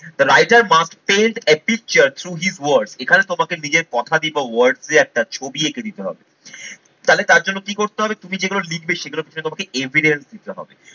The writer must tell adventure through his word এখানে তোমাকে নিজের কথা দিয়ে বা words দিয়ে একটা ছবি এঁকে দিতে হবে। তাহলে তার জন্য কি করতে হবে? তুমি যেগুলো লিখবে সেগুলো তুমি তোমাকে evidence দিতে হবে।